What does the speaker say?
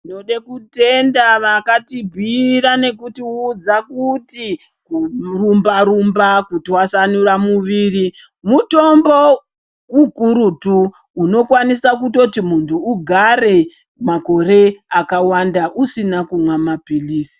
Ndoda kutenda vakatibhuira nekutiudza kuti kurumba rumba kutwasanura muiri mutombo ukurutu unokwanisa kutoti muntu ugare makore akawanda usina kumwa mapirizi.